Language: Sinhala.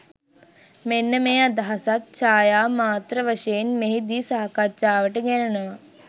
මෙන්න මේ අදහසත් ඡායා මාත්‍ර වශයෙන් මෙහි දී සාකච්ඡාවට ගැනෙනවා.